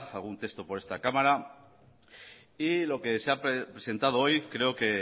algún texto por esta cámara y lo que se ha presentado hoy creo que